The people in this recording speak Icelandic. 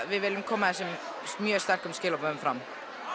við viljum koma þessum sterku skilaboðum fram